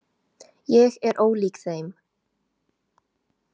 Ég er ólík þeim.